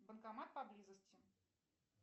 банкомат поблизости